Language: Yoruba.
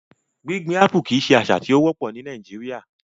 Gbigbin Apple kii ṣe asa ti o wopọ ni Nàìjíríà